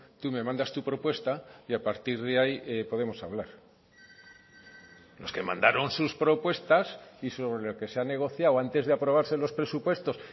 tú me mandas tu propuesta y a partir de ahí podemos hablar los que mandaron sus propuestas y sobre lo que se ha negociado antes de aprobarse los presupuestos